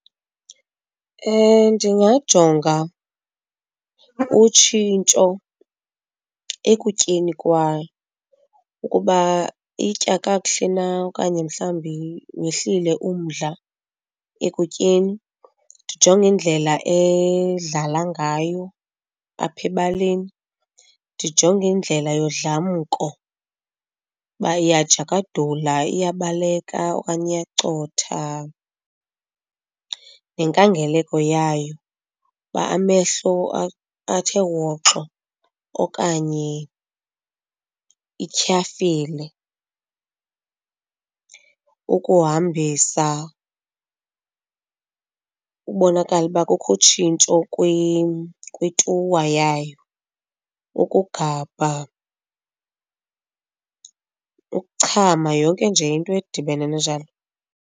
Ndingajonga utshintsho ekutyeni kwayo ukuba itya kakuhle na okanye mhlawumbi wehlile umdla ekutyeni, ndijonge indlela edlala ngayo apha ebaleni. Ndijonge indlela yodlamko ukuba iyajakadula, iyabaleka okanye iyacotha, nenkangeleko yayo uba amehlo athe woxo okanye ityhafile. Ukuhambisa ukubonakala uba kukho utshintsho kwituwa yayo, ukugabha, ukuchama, yonke nje into edibene njalo.